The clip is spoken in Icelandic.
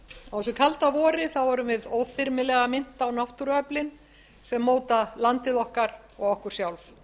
á þessu kalda vori erum við óþyrmilega minnt á náttúruöflin sem móta landið okkar og okkur sjálf